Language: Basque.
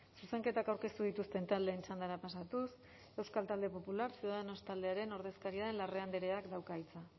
zuzenketak aurkeztu dituzten taldeen txandara pasatuz euskal talde popular ciudadanos taldearen ordezkaria den larrea andreak dauka hitza